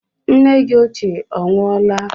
Nne gị ochie onwụọla?